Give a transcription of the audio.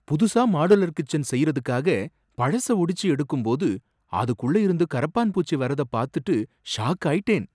புதுசா modular kitchen செய்றதுக்காக பழச ஒடிச்சு எடுக்கும்போது அதுக்குள்ள இருந்து கரப்பான் பூச்சி வரத பாத்துட்டு ஷாக் ஆயிட்டேன்.